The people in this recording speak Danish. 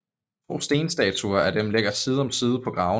To stenstatuer af dem ligger side om side på gravene